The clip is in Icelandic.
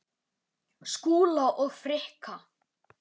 Skúla og Frikka?